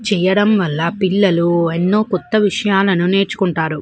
చేయడం వాల పిల్లలు అనో కొత్త విషయాలు నేర్చుకుంటారు.